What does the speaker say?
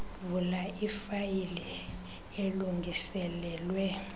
vula ifayile elungiselelwe